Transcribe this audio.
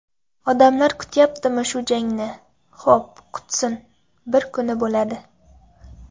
Odamlar kutyaptimi shu jangni, xo‘p kutsin, bir kuni bo‘ladi.